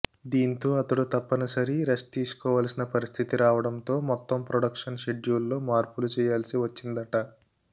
దీంతో అతడు తప్పనిసరి రెస్ట్ తీసుకోవాల్సిన పరిస్థితి రావడంతో మొత్తం ప్రొడక్షన్ షెడ్యూల్లో మార్పులు చేయాల్సి వచ్చిందట